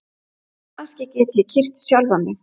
Kannski get ég kyrkt sjálfan mig?